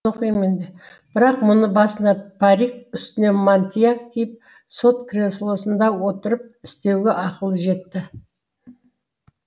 оқим мен бірақ мұны басына парик үстіне мантия киіп сот креслосында отырып істеуге ақылы жетті